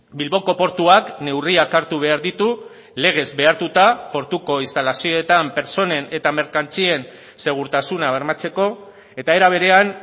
bilboko portuak neurriak hartu behar ditu legez behartuta portuko instalazioetan pertsonen eta merkantzien segurtasuna bermatzeko eta era berean